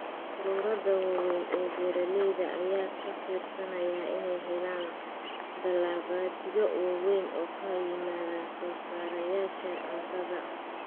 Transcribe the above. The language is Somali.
Ururada waaweyn ee beeralayda ayaa ka fiirsanaya inay helaan dalabaadyo waaweyn oo ka yimaada soosaarayaasha cuntada.